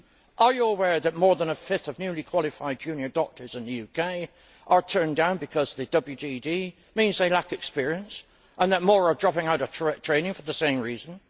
Are you aware that more than a fifth of newly qualified junior doctors in the UK are turned down because the WTD means they lack experience and that more are dropping out of training for the same reason?